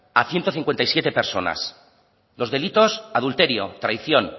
a ciento cincuenta y siete personas los delitos adulterio traición